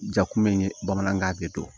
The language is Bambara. Jakulu in ye bamanankan de don